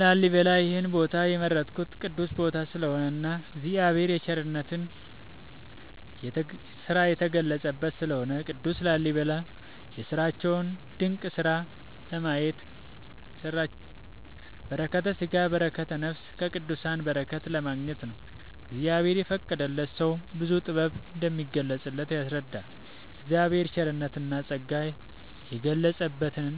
ላሊበላ ይሄን ቦታ የመረጥኩት ቅዱስ ቦታ ስለሆነ እና እግዚአብሔር የቸርነት የተገለፀበት ስለሆነ። ቅዱስ ላሊበላ የሰራቸውን ድንቅ ስራ ለማየት በረከተስጋ በረከተ ነፍስ ከቅዱሳን በረከት ለማግኘት ነው። እግዚአብሔር የፈቀደለት ሰው ብዙ ጥበብ እንደሚገለፅበት ያስረዳናል የእግዚአብሔር ቸርነትና ፀጋ የገለፀበትን